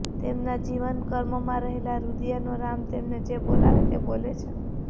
તેમના જીવનકર્મમાં રહેલાં રૂદીયાનો રામ તેમને જે બોલાવે તે બોલે છે